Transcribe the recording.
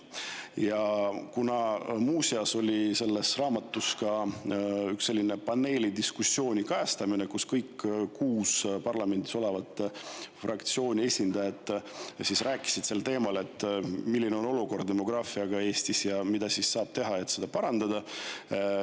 Ja muuseas on selles raamatus kajastatud ka üht paneeldiskussiooni, kus kõigi kuue parlamendis oleva fraktsiooni esindajad rääkisid sel teemal, milline on Eestis olukord demograafiaga ja mida saab teha, et seda parandada.